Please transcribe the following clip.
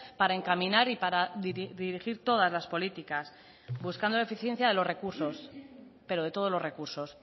para encaminar y para dirigir todas las políticas buscando la eficiencia de los recursos pero de todos los recursos